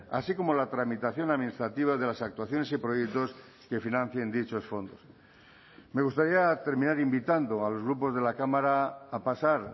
así como la tramitación administrativa de las actuaciones y proyectos que financien dichos fondos me gustaría terminar invitando a los grupos de la cámara a pasar